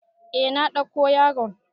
Eh na ɗauko yaron.